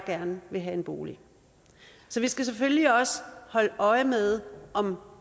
gerne vil have en bolig så vi skal selvfølgelig også holde øje med om